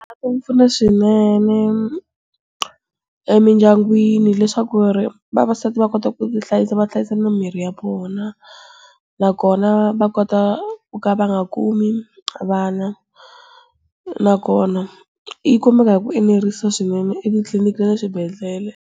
Ku pfuna swinene, emindyangwini leswaku ri, vavasati va kota ku ti hlayisa va hlayisa na mirhi ya vona. Nakona va kota ku ka va nga kumi vana. Nakona, yi kumeka hi ku enerisa swinene etitliliniki le na swibedhlele.